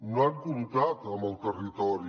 no han comptat amb el territori